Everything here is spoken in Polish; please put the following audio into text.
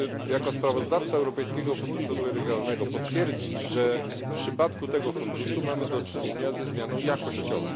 Jako sprawozdawca Europejskiego Funduszu Rozwoju Regionalnego chciałbym potwierdzić, że w przypadku tego funduszu mamy do czynienia ze zmianą jakościową.